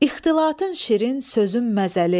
İxtilatın şirin, sözün məzəli.